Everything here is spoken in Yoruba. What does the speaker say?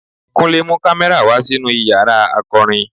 Kúnle mú kámẹ́rà wa sínú Ìyàrá akàròyìn.